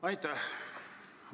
Aitäh!